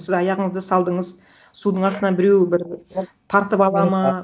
сіз аяғыңызды салдыңыз судын астынан біреу бір тартып алады ма